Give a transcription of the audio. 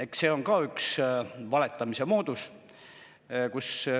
Eks see on ka üks valetamise moodus.